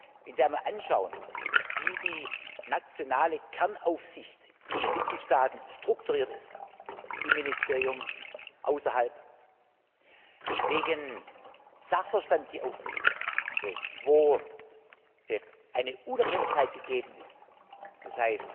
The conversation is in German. Wenn Sie einmal anschauen, wie die nationale Kernaufsicht in den Mitgliedstaaten strukturiert ist im Ministerium und außerhalb welchen Sachverstand sie aufweist, wo Unabhängigkeit gegeben ist d.